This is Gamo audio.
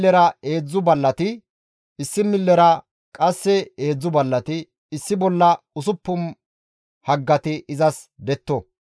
Issi millera heedzdzu ballati, issi millera qasseka heedzdzu ballati issi bolla usuppun haggati izas detto.